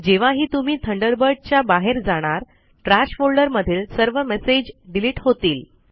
जेव्हाही तुम्ही थंडरबर्ड च्या बाहेर जाणार ट्रॅश फोल्डर मधील सर्व मेसेज डिलीट होतील